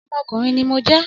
Ọmọkùnrin ní mo jẹ́